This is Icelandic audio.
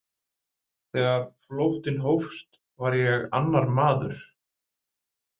Þegar flóttinn hófst var ég annar maður.